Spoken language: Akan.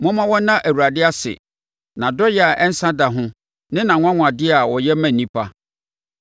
Momma wɔnna Awurade ase, nʼadɔeɛ a ɛnsa da ho ne nʼanwanwadeɛ a ɔyɛ ma nnipa.